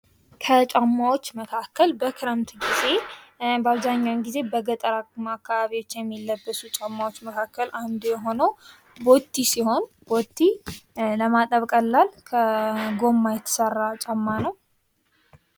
ከጫማዎች መካከል በክረምት ጊዜ በአብዛኛውን ጊዜ በጠር አካባቢዎች የሚለብሱ ጫማዎች መካከል አንዱ የሆነው ቦቲ ሲሆን ቦቲ ለማጠብ ቀላል ከጎማ የተሰራ ጫማ ነው።